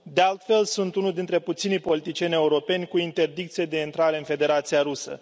De altfel, sunt unul dintre puținii politicieni europeni cu interdicție de intrare în Federația Rusă.